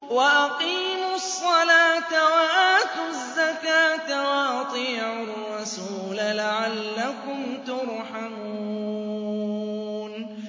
وَأَقِيمُوا الصَّلَاةَ وَآتُوا الزَّكَاةَ وَأَطِيعُوا الرَّسُولَ لَعَلَّكُمْ تُرْحَمُونَ